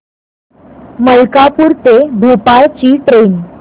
मलकापूर ते भोपाळ ची ट्रेन